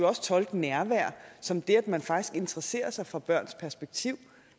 også tolke nærvær som det at man faktisk interesserer sig for børns perspektiv